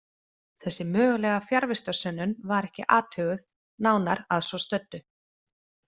Þessi mögulega fjarvistarsönnun var ekki athuguð nánar að svo stöddu.